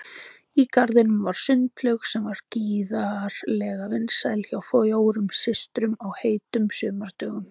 Í garðinum var sundlaug sem var gríðarlega vinsæl hjá fjórum systrum á heitum sumardögum.